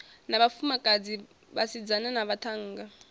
na vhafumakadzi vhasidzana na vhaṱhannga